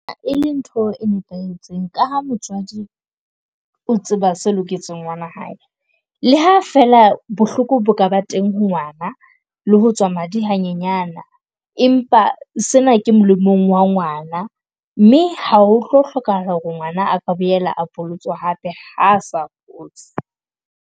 E le ntho e nepahetseng ka ha motswadi o tseba se loketseng ngwana hae. Le ha fela bohloko bo ka ba teng ha ngwana le ho tswa madi ha nyenyana, empa sena ke molemong wa ngwana. Mme ha ho tlo hlokahala hore ngwana a ka boela a bolotswe hape ha sa fotse.